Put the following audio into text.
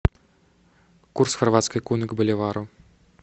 курс хорватской куны к боливару